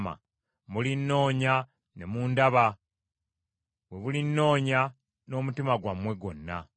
“Mulinnoonya ne mundaba bwe mulinnoonya n’omutima gwammwe gwonna.